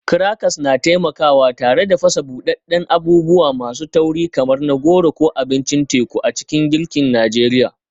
Crackers na taimakawa tare da fasa buɗaɗɗen abubuwa masu tauri kamar na goro ko abincin teku a cikin girkin Najeriya.